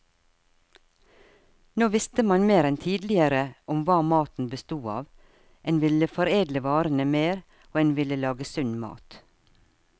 Nå visste man mer enn tidligere om hva maten bestod av, en ville foredle varene mer, og en ville lage sunn mat.